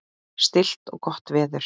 Stillt og gott veður.